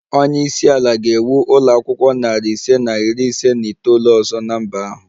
Onye isi ala ga-ewu ụlọ akwụkwọ narị ise na iri ise na itoolu ọzọ na mba ahụ